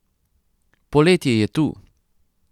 Poletje je tu!